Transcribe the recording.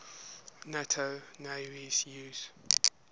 nato navies use